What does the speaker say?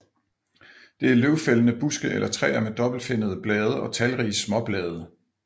Det er løvfældende buske eller træer med dobbeltfinnede blade og talrige småblade